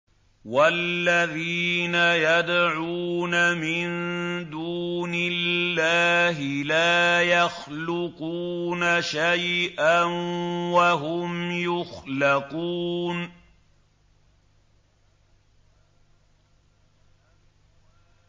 وَالَّذِينَ يَدْعُونَ مِن دُونِ اللَّهِ لَا يَخْلُقُونَ شَيْئًا وَهُمْ يُخْلَقُونَ